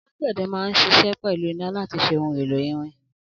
Alàgbéde ma n sise pelu iná lati ṣe ohun èlò irin